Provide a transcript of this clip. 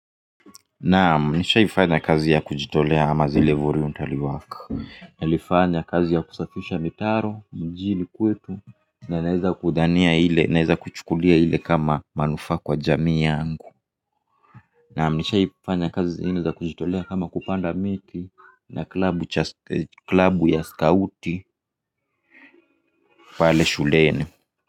Naam nishaifanya kazi ya kujitolea ama zile voluntary work. Nilifanya kazi ya kusafisha mitaro mjini kwetu na naeza kudhania ile naeza kuchukulia ile kama manufa kwa jamii yangu. Naam nishaifanya kazi zingine za kujitolea kama kupanda miti na klabu ya scauti pale shuleni.